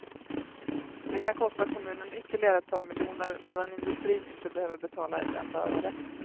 Det kan kosta kommunen ytterligare ett par miljoner, medan industrin inte behöver betala ett enda öre.